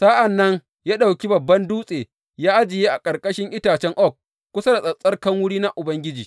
Sa’an nan ya ɗauki babban dutse ya ajiye a ƙarƙashin itacen oak kusa da tsattsarkan wuri na Ubangiji.